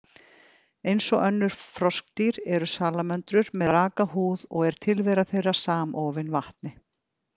Eins og önnur froskdýr, eru salamöndrur með raka húð og er tilvera þeirra samofin vatni.